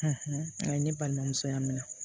ne balimamuso ya minɛ